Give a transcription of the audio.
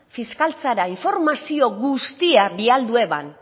fiskaltzara informazio guztiak bialdu eban